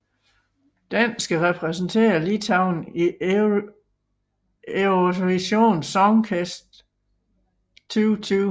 Den skal repræsentere Litauen i Eurovision Song Contest 2020